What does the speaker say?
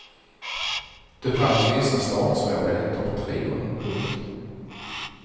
Det fanns vissa startsvårigheter för trion. punkt